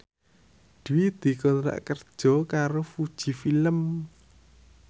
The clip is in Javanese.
Dwi dikontrak kerja karo Fuji Film